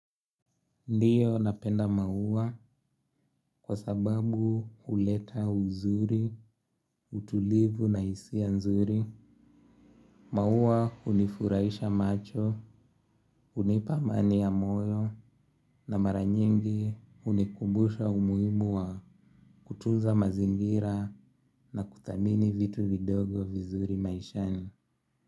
Ndiyo napenda maua kwa sababu huleta uzuri, utulivu na hisia nzuri. Maua hunifurahisha macho, hunipa amani ya moyo na mara nyingi hunikumbusha umuhimu wa kutunza mazingira na kuthamini vitu vidogo vizuri maishani.